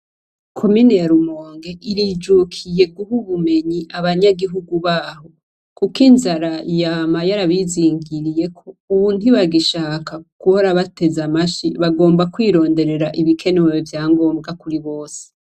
Komine ya rumonge irijukiye guma ubumenyi abanyagihugu baho kuko inzara yama yarabizingiriyeko ubu ntibagishaka gihora bateze amashi bagomba kwironderera ibikenewe vyangombwa kuribose.